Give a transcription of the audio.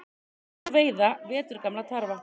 Ekki má veiða veturgamla tarfa